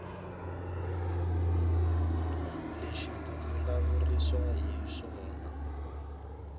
lexi ku vulavuriwaka hi xona